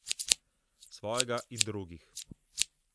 Svojega in drugih.